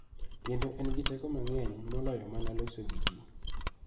Kendo en gi teko mang�eny moloyo mana loso gi ji.